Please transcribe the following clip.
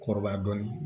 Kɔrɔbaya dɔɔnin